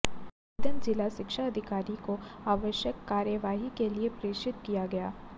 आवेदन जिला शिक्षा अधिकारी को आवश्यक कार्यवाही के लिए प्रेषित किया गया